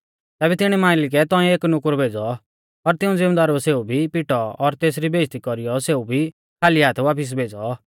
तैबै तिणी मालिकै तौंइऐ एक नुकुर भेज़ौ पर तिऊं ज़िमदारुऐ सेऊ भी पिटौ और तेसरी बेइज़्ज़ती कौरीयौ सेऊ भी खाली हाथ वापिस भेज़ौ